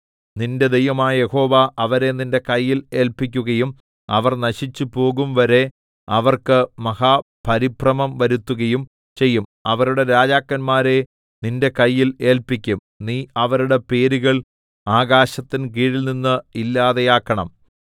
നിന്റെ ദൈവമായ യഹോവ അവരെ നിന്റെ കയ്യിൽ ഏല്പിക്കുകയും അവർ നശിച്ചുപോകുംവരെ അവർക്ക് മഹാപരിഭ്രമം വരുത്തുകയും ചെയ്യും അവരുടെ രാജാക്കന്മാരെ നിന്റെ കയ്യിൽ ഏല്പിക്കും നീ അവരുടെ പേരുകൾ ആകാശത്തിൻകീഴിൽനിന്ന് ഇല്ലാതെയാക്കണം